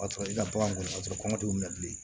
O y'a sɔrɔ i ka bagan ka sɔrɔ kɔngɔ t'u la bilen